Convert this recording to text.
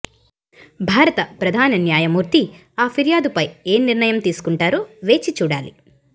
భారత ప్రధాన న్యాయమూర్తి ఆ ఫిర్యాదుపై ఏ నిర్ణయం తీసుకుంటారో వేచి చూడాలి